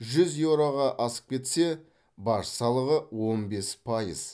жүз еуроға асып кетсе баж салығы он бес пайыз